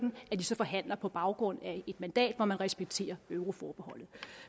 os forhandler på baggrund af et mandat hvor man respekterer euroforbeholdet